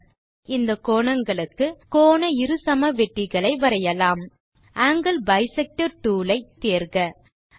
இப்போது இந்த கோணங்களுக்கு கோண இருசமவெட்டிகளை வரையலாம் ஆங்கில் பைசெக்டர் டூல் ஐ டூல் பார் இலிருந்து தேர்க